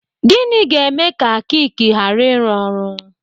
Gịnị ga-eme ka kiki ghara ịrụ ọrụ?